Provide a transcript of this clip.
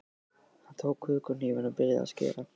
Hann tók kökuhnífinn og byrjaði að skera.